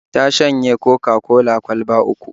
Ta shanye Coca-cola kwalba uku